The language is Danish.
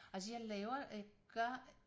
Altså jeg laver jeg gør